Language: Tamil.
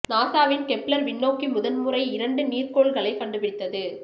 நாசாவின் கெப்ளர் விண்ணோக்கி முதன்முறை இரண்டு நீர்க்கோள் களைக் கண்டு பிடித்தது